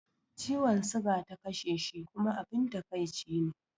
Ciwon siga ta kashe shi kuma abun takaici ne